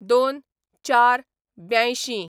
०२/०४/८२